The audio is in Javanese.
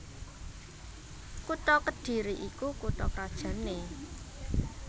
Kutha Kedhiri iku kutha krajanné